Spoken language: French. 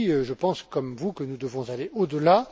En effet, je pense, comme vous, que nous devons aller au delà.